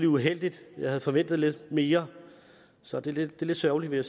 uheldigt jeg havde forventet lidt mere så det er lidt sørgeligt vil